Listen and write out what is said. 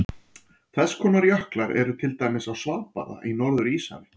Þess konar jöklar eru til dæmis á Svalbarða í Norður-Íshafi.